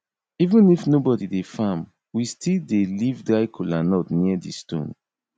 even if nobody dey farm we still dey leave dry kola nut near di stone